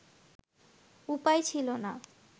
উপায় ছিল না